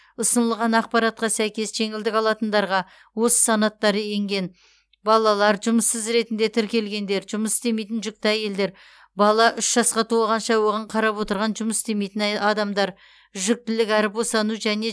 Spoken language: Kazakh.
ұсынылған ақпаратқа сәйкес жеңілдік алатындарға осы санаттар енген балалар жұмыссыз ретінде тіркелгендер жұмыс істемейтін жүкті әйелдер бала үш жасқа толғанша оған қарап отырған жұмыс істемейтін адамдар жүктілік әрі босану және